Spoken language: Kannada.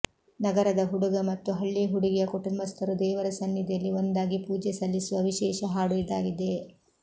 ನಗರದ ಹುಡುಗ ಮತ್ತು ಹಳ್ಳಿ ಹುಡುಗಿಯ ಕುಟುಂಬಸ್ಥರು ದೇವರ ಸನ್ನಿಧಿಯಲ್ಲಿ ಒಂದಾಗಿ ಪೂಜೆ ಸಲ್ಲಿಸುವ ವಿಶೇಷ ಹಾಡು ಇದಾಗಿದೆ